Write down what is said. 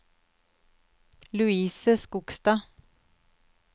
Louise Skogstad